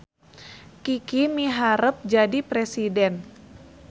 Kiki miharep jadi presiden